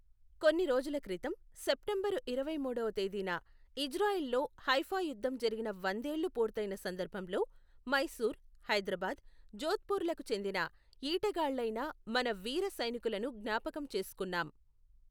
కొన్ని రోజుల క్రితం సెప్టెంబరు ఇరవై మూడవ తేదీన ఇజ్రాయిల్ లో హైఫా యుధ్ధం జరిగి వందేళ్ళు పూర్తయిన సందర్భంలో, మైసూర్, హైదరాబాద్, జోధ్పూర్ లకు చెందిన ఈటెగాళ్ళైన మన వీర సైనికులను జ్ఞాపకం చేసుకున్నాం.